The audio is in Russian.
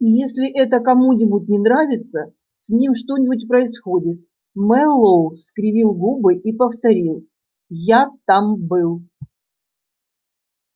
и если это кому-нибудь не нравится с ним что-нибудь происходит мэллоу скривил губы и повторил я там был